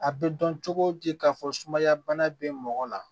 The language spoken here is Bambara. A bɛ dɔn cogo di k'a fɔ sumaya bana bɛ mɔgɔ la